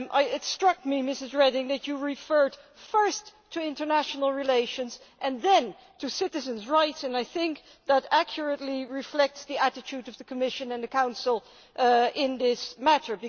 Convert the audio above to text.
It struck me, Ms Reding, that you referred first to international relations and then to citizens' rights and I think that accurately reflects the attitude of the Commission and the Council in this matter.